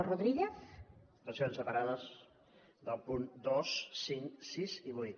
votacions separades dels punts dos cinc sis i vuit